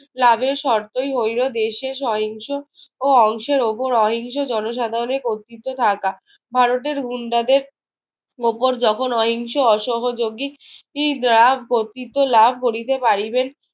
লাভের শর্তই হইল দেশের সহিংস ও অংশের ওপর অহিংস জনসাধারণের কর্তৃত্ব থাকা। ভারতের গুন্ডাদের ওপর যখন অহিংস অসহযোগী কর্তৃত্ব লাভ করিতে পারিবেন।